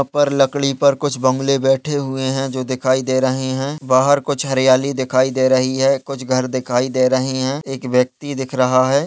यहाँ पर लकड़ी पर कुछ बगुले बैठे हुए है जो दिखाई दे रहे है बाहर कुछ हरियाली दिखाई दे रही है कुछ घर दिखाई दे रहे है एक व्यक्ति दिख रहा है।